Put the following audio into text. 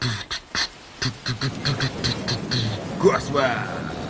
ты город самара